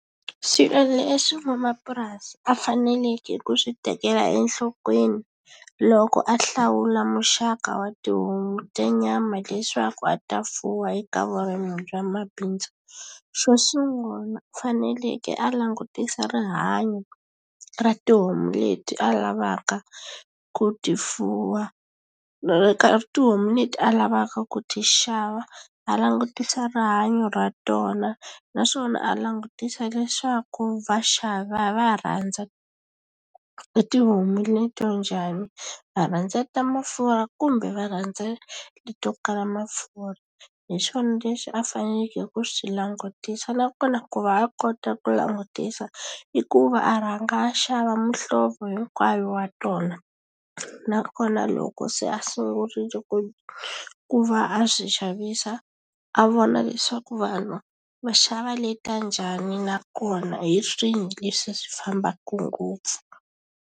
Swilo leswi van'wamapurasi a faneleke ku swi tekela enhlokweni loko a hlawula muxaka wa tihomu ta nyama leswaku a ta fuwa eka vurimi bya mabindzu xo sungula u faneleke a langutisa rihanyo ra tihomu leti a lavaka ku ti fuwa ene tihomu leti a lavaka ku ti xava a langutisa rihanyo ra tona naswona a langutisa leswaku vaxavi va rhandza tihomu leto njhani va rhandza ta mafurha kumbe va rhandza leto kala mafurha hi swona leswi a faneleke ku swi langutisa nakona ku va a kota ku langutisa i ku va a rhanga a xava muhlovo hinkwayo wa tona nakona loko se a sungurile ku ku va a swi xavisa a vona leswaku vanhu va xava leta njhani nakona hi swini leswi swi fambaka ngopfu.